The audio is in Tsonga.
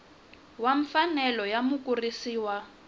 wa mfanelo ya mukurisi wa